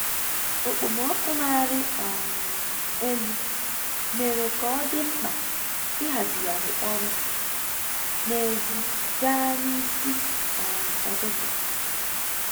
Okpomọkụ na-arị um elu mere ka ọ dị mkpa ịhazigharị ọrụ n'èzí gaa n'ịsị um ụtụtụ